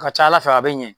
A ka ca ala fɛ a bɛ ɲɛ